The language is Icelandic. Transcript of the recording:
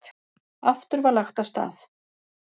Aftur var lagt af stað.